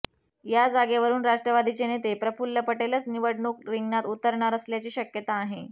या जागेवरुन राष्ट्रवादीचे नेते प्रफुल्ल पटेलच निवडणूक रिंगणात उतरणार असल्याची शक्यता आहे